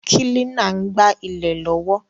Kílínà n gbá ilè lọ́wọ́